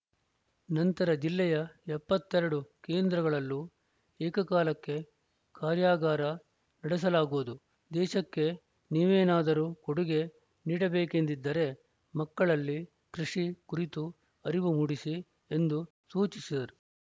ನಂತರ ಜಿಲ್ಲೆಯ ಎಪ್ಪತ್ತ್ ಎರಡು ಕೇಂದ್ರಗಳಲ್ಲೂ ಏಕಕಾಲಕ್ಕೆ ಕಾರ್ಯಾಗಾರ ನಡೆಸಲಾಗುವುದು ದೇಶಕ್ಕೆ ನೀವೇನಾದರೂ ಕೊಡುಗೆ ನೀಡಬೇಕೆಂದಿದ್ದರೆ ಮಕ್ಕಳಲ್ಲಿ ಕೃಷಿ ಕುರಿತು ಅರಿವು ಮೂಡಿಸಿ ಎಂದು ಸೂಚಿಸಿದರು